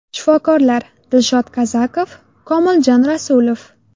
Shifokorlar: Dilshod Kazakov, Komiljon Rasulov.